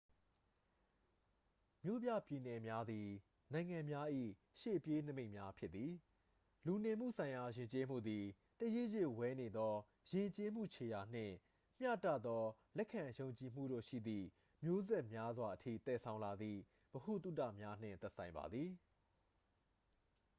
မြို့ပြပြည်နယ်များသည် နိုင်ငံများ၏ ရှေ့ပြေးနိမိတ်များ ဖြစ်သည် လူနေမှုဆိုင်ရာ ယဉ်ကျေးမှုသည် တရစ်ရစ်ဝဲနေသော ယဉ်ကျေးမှု ခြေရာနှင့် မျှတသော လက်ခံယုံကြည်မှုတို့ရှိသည့် မျိုးဆက်များစွာအထိ သယ်ဆောင်လာသည့် ဗဟုသုတများနှင့် သက်ဆိုင်ပါသည်